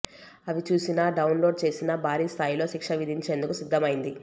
అవి చూసినా డౌన్లోడ్ చేసినా భారీ స్టాయిలో శిక్ష విధించేందుకు సిద్ధమైంది